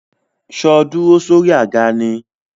Sọ dúró sórí àga ni?